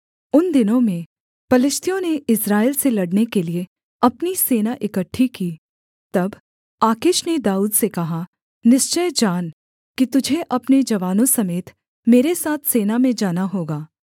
उन दिनों में पलिश्तियों ने इस्राएल से लड़ने के लिये अपनी सेना इकट्ठी की तब आकीश ने दाऊद से कहा निश्चय जान कि तुझे अपने जवानों समेत मेरे साथ सेना में जाना होगा